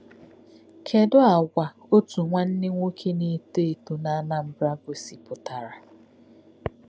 Kedu àgwà otu nwanna nwoke na-eto eto na Anambra gosipụtara?